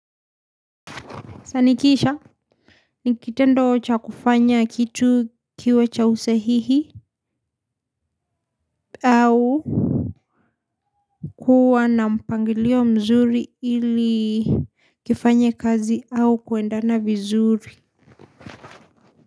Sanikisha, nikitendo cha kufanya kitu kiwe cha usahihi au kuwa na mpangilio mzuri, ili kifanye kazi au kuendana vizuri.